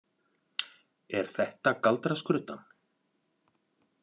Er þetta galdraskruddan?